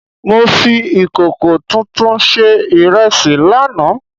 Mo fi ìkòkò tuntun sé ìrẹsì láàná